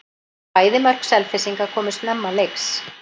Bæði mörk Selfyssinga komu snemma leiks.